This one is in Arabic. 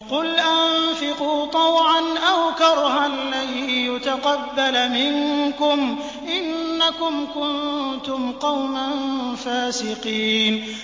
قُلْ أَنفِقُوا طَوْعًا أَوْ كَرْهًا لَّن يُتَقَبَّلَ مِنكُمْ ۖ إِنَّكُمْ كُنتُمْ قَوْمًا فَاسِقِينَ